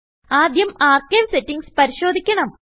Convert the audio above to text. ആദ്യം archive settings പരിശോധിക്കണം